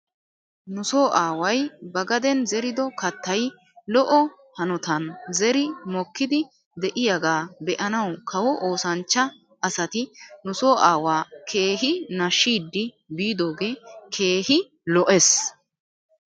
Nu so aaway ba gaden zerido kaatay lo'o hanutan zeri mokiiddi de'iyaagaa be'anaw kawo oosanchcha asati nuso aawaa keehi nashshidi biidoogee keehi lo'es.